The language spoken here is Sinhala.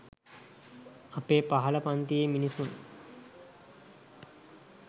අපේ පහළ පන්තියේ මිනිසුන්.